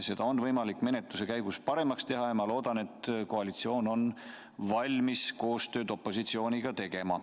Seda on võimalik menetluse käigus paremaks teha ja ma loodan, et koalitsioon on valmis opositsiooniga koostööd tegema.